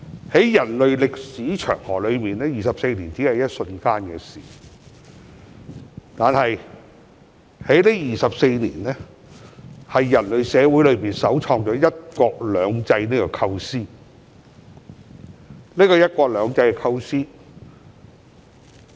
在人類歷史長河中 ，24 年只是一瞬間的事，但人類社會首創的"一國兩制"構思在這24年間實踐。